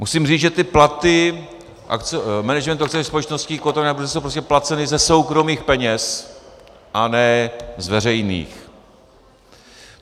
Musím říci, že ty platy managementu akciových společností kotovaných na burze jsou prostě placeny ze soukromých peněz a ne z veřejných.